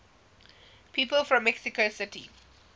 people from mexico city